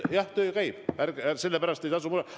Aga töö käib, selle pärast ei tasu muretseda.